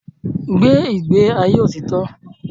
Gbé ìgbé ayé òtítọ́!